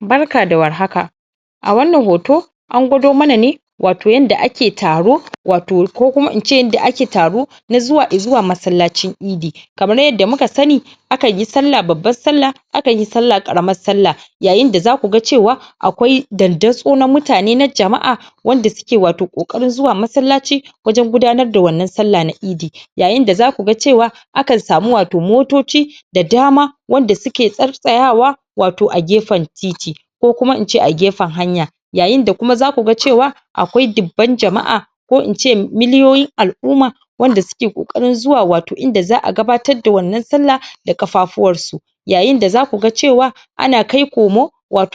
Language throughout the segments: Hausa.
barka da war haka a wannan hoto an gwado mana ne wato yanda ake taro wato ko kuma ince yanda ake taro na zuwa masallacin eidi kamar yadda muka sani akan yi sallah babban sallah akanyi sallah karamin sallah yayin da zaku ga cewa akwai daddaso na mutane na jama'a wanda suke wato kokarin zuwa masallaci wajen gudanar da wannan sallah na eidi yayin da zaku ga cewa akan samu wato motoci da dama wanda suke tsayawa wato a gefen titi ko kuma ince a gefen hanya yayin da kuma zaku ga cewa akwai dibban jama'a ko ince miliyoyi al'umma wanda suke kokarin zuwa wato inda za'a gatabatar da wannan sallah da kafafuwar su yayin da zaku ga cewa ana kai komo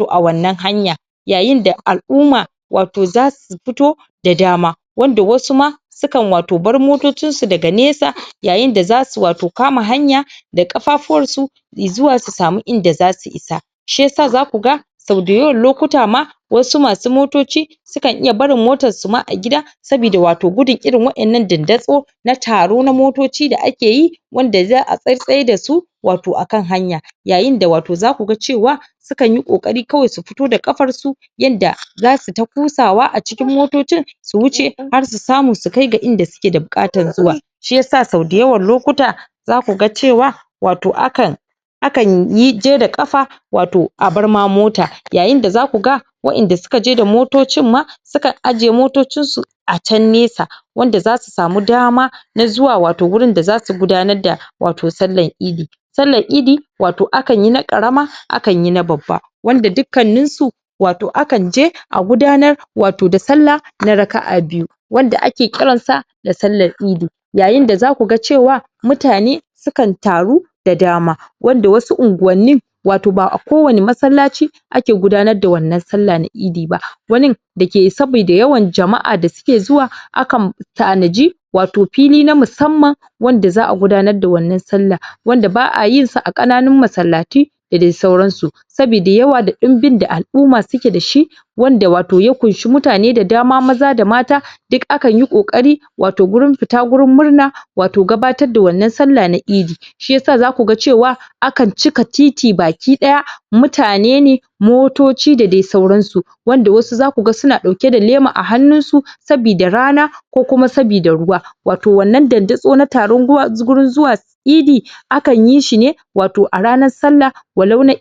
a wannan hanya yayin da al'umma wato zasu fito da dama wanda wasu ma sukan bar wato motocin su daga nesa yayin da zasu wato kama hanya da kafafuwan su zuwa su samu inda zasu isa shiyasa zaku ga sau dayawan lokuta ma wasu masu motoci sukan iya barin motan su ma a gida sabida wato gudun irin wa'ennan dandaso na taro na motoci da akeyi wanda za'a tsatsayar dasu wato akan hanya yayin da wato zaku ga cewa su kanyi kokari kawai su fito da kafafuwan su yanda zasu ta kosawa a cikin motocin su wuce har su samu su kai ga inda suke da bukatar zuwa shiyasa sau dayawan lokuta zaku ga cewa wato akan akan je da kafa wato a bar ma mota yayin da zaku ga wa'enda suka je da motocin ma sukan ajiye motocin su a can nesa wanda zasu samu dama na zuwa wato wurin da zasu gudanar da wato sallan eidi sallan eidi wato akn yi na karama akanyi na babba wanda dukkannin su wato akan je a gudar wato da sallah na raka'a biyu wanda ake kiran sa da sallan eidi yayin da zaku ga cewa mutane sukan taru da dama wanda wasu unguwannin wato ba'a kowani masallaci ake gudanar da wannan sallah na eidi ba wanin dake sabida yawan jama'a dasuke zuwa akan tanaji wato fili na musamman wanda za'a gudanar da wannan sallah wanda ba'a yin sa a kananun masallatu da dai sauran su sabida yawa da dumbin da al'umma suke dashi wanda ya kunshi mutane da dama maza da mata akanyi kokari wato gurin fita gurin murna wato gabatar da wannan sallah na eidi shiyasa zaku ga cewa akan cika titi baki daya mutane ne motoci da dai sauran su wanda wasu zaku ga suna dauke da lema a hannun su sabida rana ko kuma sabida ruwa wato wannan dandaso na taru gurin zuwa eidi akan yi shine wato a ranar sallah walau na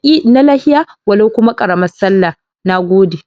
layya walau kuma karamar sallah nagode